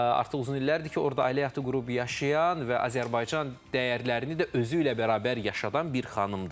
Artıq uzun illərdir ki, orda ailə həyatı qurub yaşayan və Azərbaycan dəyərlərini də özüylə bərabər yaşadılan bir xanımdır.